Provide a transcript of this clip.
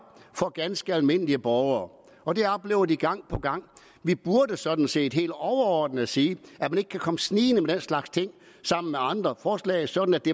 for ganske almindelige borgere og det oplever de gang på gang vi burde sådan set helt overordnet sige at man ikke kan komme snigende med den slags ting sammen med andre forslag sådan at det